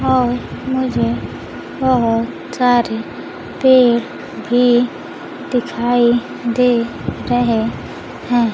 और मुझे बहोत सारे पेड़ भी दिखाई दे रहे हैं।